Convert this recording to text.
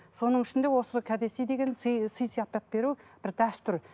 соның ішінде осы кәдесый деген сый сый сияпат беру бір дәстүр